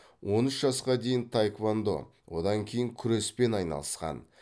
он үш жасқа дейін таэквандо одан кейін күреспен айналысқан